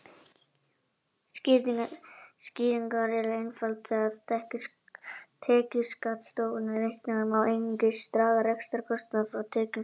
Skýringin er einföld: Þegar tekjuskattsstofn er reiknaður má einungis draga rekstrarkostnað frá tekjum fyrirtækja.